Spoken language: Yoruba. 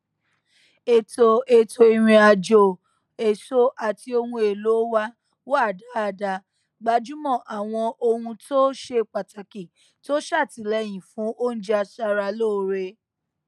ètò ètò ìrìn àjò èso àti ohun èlò wa wà dáadáa gbájúmọ àwọn ohuntó ṣe pàtàkì tó ṣàtìlẹyìn fún oúnjẹ aṣaralóore